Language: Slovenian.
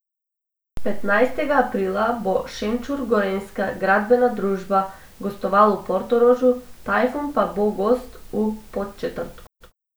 Petnajstega aprila bo Šenčur Gorenjska gradbena družba gostoval v Portorožu, Tajfun pa bo gost v Podčetrtku.